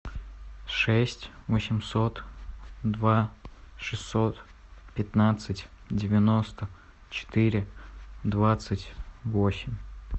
шесть восемьсот два шестьсот пятнадцать девяносто четыре двадцать восемь